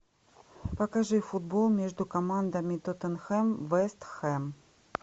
покажи футбол между командами тоттенхэм вест хэм